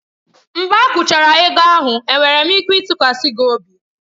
Mgbe akwụchara ego ahụ, enwere m ike ịtụkwasị gị obi?